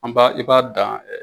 An ba, i b'a dan